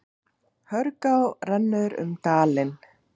Hörgá rennur um dalinn.